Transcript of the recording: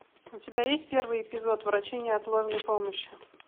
у тебя есть первый эпизод врачи неотложной помощи